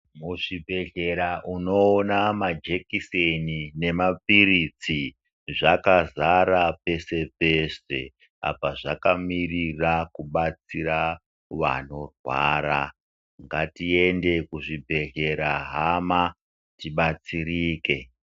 Muzvibhedhlera unoona majekiseni nemapiritsi zvakazara peshe peshe. Apa zvakamirira kubatsira vanorwara ngatiende kuzvibhedhlera hama tibatsereke.